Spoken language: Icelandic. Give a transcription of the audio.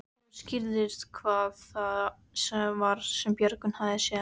Þá skýrðist hvað það var sem Björgvin hafði séð.